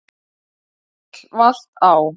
Bíll valt á